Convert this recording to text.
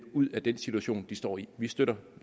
ud af den situation de står i vi støtter